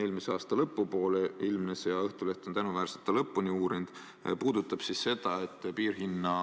Eelmise aasta lõpu poole ilmnes – ja Õhtuleht on tänuväärselt selle lõpuni uurinud –, et piirhinna